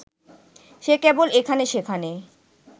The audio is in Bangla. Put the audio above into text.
সে কেবল এখানে-সেখানে